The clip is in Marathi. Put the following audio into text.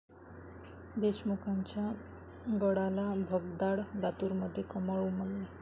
देशमुखांच्या गडाला भगदाड, लातूरमध्ये 'कमळ' उमलले